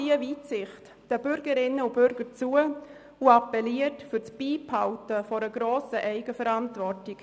Die EDU-Fraktion traut den Bürgerinnen und Bürgern genau diese Weitsicht zu und appelliert für das Beibehalten einer grossen Eigenverantwortung.